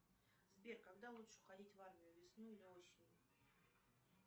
сбер когда лучше уходить в армию весной или осенью